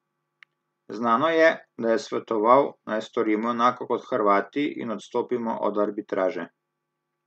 Znano je, da je svetoval, naj storimo enako kot Hrvati in odstopimo od arbitraže.